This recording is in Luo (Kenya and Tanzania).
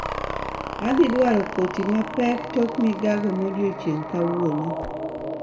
Adhi dwaro koti na mapek tok migago modiecheng' kawuono